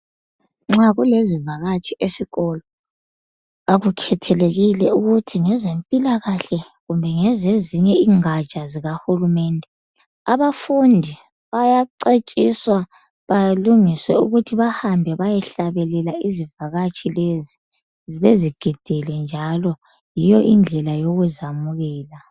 Nxa kulezivakatshi esikolo akukhethelekile ukuthi ngezempilakahle kumbe ngezezinye ingatsha zikahulumende. Abafundi bayacetshiswa balungise ukuthi bahambe bayehlabelela izivakatshi lezi, bezigidele njalo yiyo indlela yokuzamukela.